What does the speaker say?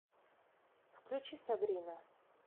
включи сабрина